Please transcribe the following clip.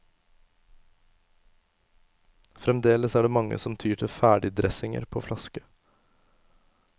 Fremdeles er det mange som tyr til ferdigdressinger på flaske.